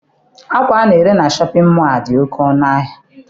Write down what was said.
Akwa ana-ere na Shọpịn mọọ a dị oké ọnụ ahịa.